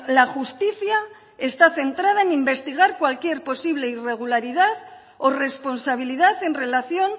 la justicia está centrada en investigar cualquier posible irregularidad o responsabilidad en relación